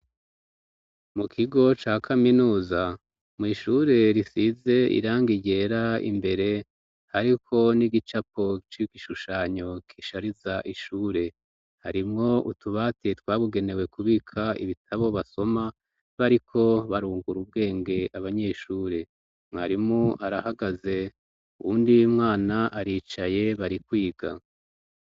Mu kigo ca kaminuza mw'ishure risize irangi ryera imbere hariko n'igicapo c'igishushanyo gishariza ishure, harimwo utubati twabugenewe kubika ibitabo basoma bariko barungura ubwenge abanyeshure, mwarimu arahagaze, uwundi mwana aricaye barikwiga.